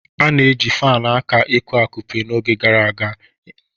A na-eji fanụ aka eku-akụpe n'oge gara aga eme ihe